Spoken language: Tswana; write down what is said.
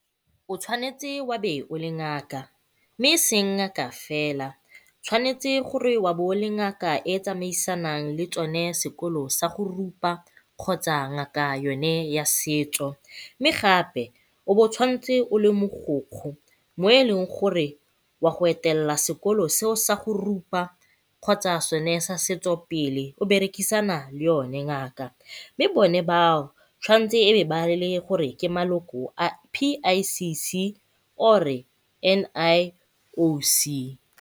O tshwanetse wa be o le ngaka, mme e seng ngaka fela. Tshwanetse gore wa bo o le ngaka e e tsamaisang le tsone sekolo sa go rupa kgotsa yone ngaka ya setso, mme gape o bo o tshwanetse o le mogokgo mo e leng gore o a go etelela sekolo seo sa go rupa kgotsa sone sa setso pele o berekisana le yone ngaka, mme bone bao tshwanetse e be ba e le gore ke bone ba maloko a P_I_C_C or-e N_I_O_C